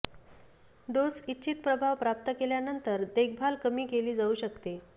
dose इच्छित प्रभाव प्राप्त केल्यानंतर देखभाल कमी केले जाऊ शकते